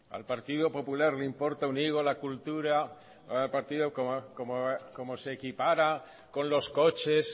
al partido popular le importa un higo la cultura cómo se equipara con los coches